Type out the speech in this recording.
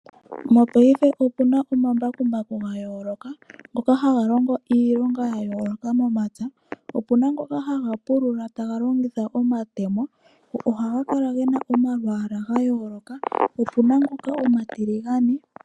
mopaife opuna omambakumbaku ga yooloka ngoka haga longa iilonga ya yooloka momapya. Opena ngoka haga pulula taga longitha omatemo. Ohaga kala gena omalwaala ga yooloka, opena ngoka omatiligane.